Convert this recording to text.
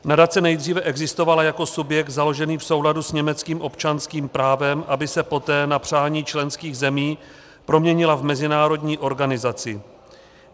Nadace nejdříve existovala jako subjekt založený v souladu s německým občanským právem, aby se poté na přání členských zemí proměnila v mezinárodní organizaci.